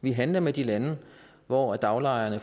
vi handler med de lande hvor daglejerne